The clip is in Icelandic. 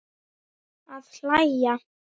Að hlæja.